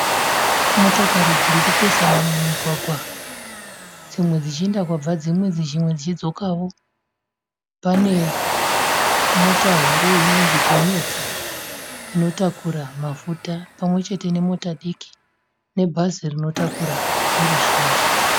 Motokari dzirikupesana mumugwagwa. Dzimwe dzichienda kwabva dzimwe, dzimwe dzichidzokawo. Pane mota huru inonzi gonyeti inotakura mafuta, pamwechete nemota diki nebhazi rinotakura veruzhinji.